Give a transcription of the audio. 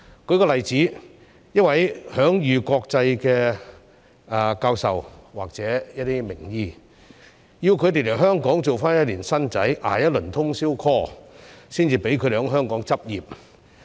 舉例來說，要求一名享譽國際的教授或一些名醫來港時先做1年"新仔"，捱一輪通宵 call 才獲准在港執業。